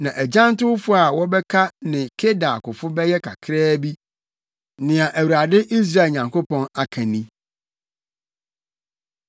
Na agyantowfo a wɔbɛka ne Kedar akofo bɛyɛ kakraa bi.” Nea Awurade, Israel Nyankopɔn, aka ni.